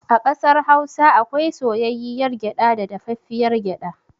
A ƙasar Hausa akwai soyayyiyar gyaɗa da dafaffiyar gyaɗa.